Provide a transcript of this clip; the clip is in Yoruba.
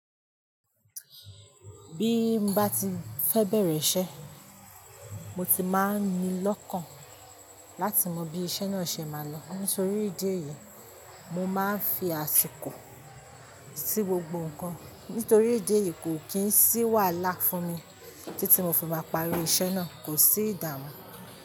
Bí n bá ti fẹ́ bẹ̀rẹ̀ iṣẹ́--, mo ti máa ń ní lọ́kàn láti mọ bí iṣẹ́ náà ṣe máa lọ. Nítorí ìdí èyí, mo máa ń fi àsìkò sí gbogbo nǹkan, nítorí ìdí èyí kò kì í sì wàhalá funmi títí mo fi máa parí iṣẹ́ náà. Kò sí ìdààmú.